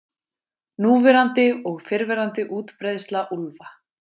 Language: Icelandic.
Núverandi og fyrrverandi útbreiðsla úlfa.